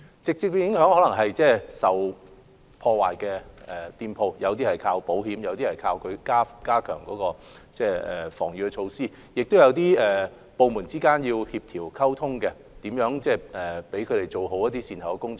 直接的影響可能是店鋪受到破壞後，有些須依靠保險，有些則依靠加強防禦措施；亦有部門之間的協調和溝通，以找出如何做好善後工作。